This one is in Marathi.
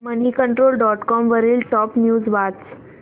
मनीकंट्रोल डॉट कॉम वरील टॉप न्यूज वाच